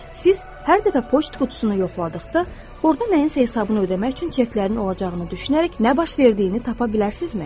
Siz hər dəfə poçt qutusunu yoxladıqda, orda nəyinsə hesabını ödəmək üçün çeklərin olacağını düşünərək nə baş verdiyini tapa bilərsinizmi?